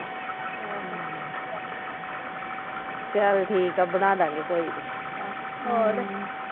ਚਲ ਠੀਕ ਆ ਬਣਾ ਦਾ ਗੇ ਕੋਈ ਨਹੀਂ